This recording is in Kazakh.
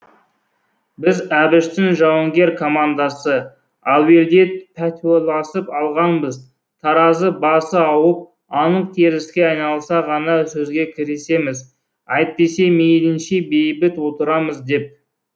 біз әбіштің жауынгер командасы әуелде пәтуаласып алғанбыз таразы басы ауып анық теріске айналса ғана сөзге кірісеміз әйтпесе мейлінше бейбіт отырамыз деп